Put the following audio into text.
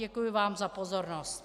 Děkuji vám za pozornost.